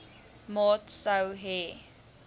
maat sou hê